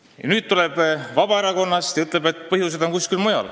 Ja nüüd tuleb inimene Vabaerakonnast ja ütleb, et põhjused on kuskil mujal.